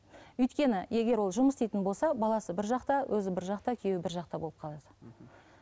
өйткені егер ол жұмыс істейтін болса баласы бір жақта өзі бір жақта күйеуі бір жақта болып қалады мхм